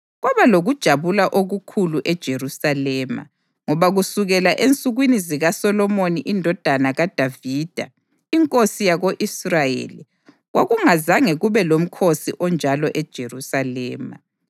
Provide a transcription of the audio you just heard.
Kwaba lokujabula okukhulu eJerusalema, ngoba kusukela ensukwini zikaSolomoni indodana kaDavida inkosi yako-Israyeli kwakungazange kube lomkhosi onjalo eJerusalema.